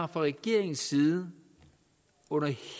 regeringens side under